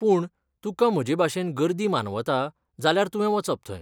पूण, तुका म्हजेभाशेन गर्दी मानवता, जाल्यार तुवें वचप थंय.